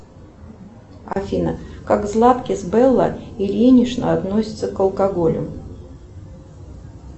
афина как златкис белла ильинична относится к алкоголю